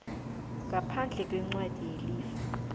ngaphandle kwencwadi yelifa